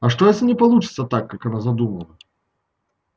а что если не получится так как она задумала